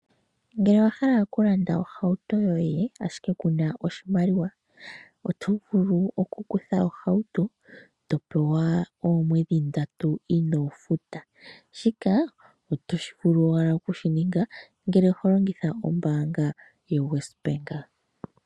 Ngele owa hala okulanda ohauto yoye ashike ku na oshimaliwa oto vulu okukutha ohauto eto pewa oomwedhi ndatu inoo futa. Shika oto vulu owala okushininga ngele oho longitha ombaanga yoWesBank.